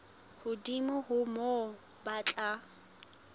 hodimo ho moo ba tla